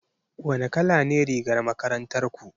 Wane kala ne rigar makarantar ku?